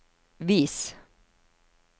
vis